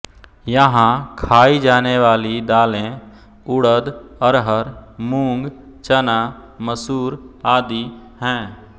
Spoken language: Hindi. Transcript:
यहां खाई जाने वाली दालें उड़द अरहर मूंग चना मसूर आदि हैं